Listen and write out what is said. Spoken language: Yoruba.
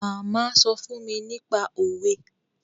Màmá sọ fún mi nípa òwe